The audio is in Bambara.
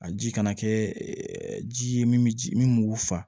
A ji kana kɛ ji ye min b'u fa